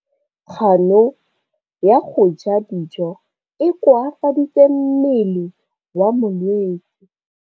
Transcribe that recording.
Kganô ya go ja dijo e koafaditse mmele wa molwetse.